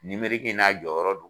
n'a jɔyɔrɔ do.